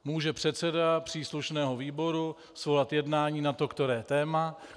Může předseda příslušného výboru svolat jednání na to které téma.